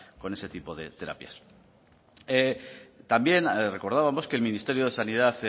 con ese tipo de terapias también recordábamos que el ministerio de sanidad